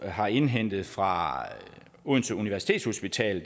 har indhentet fra odense universitetshospital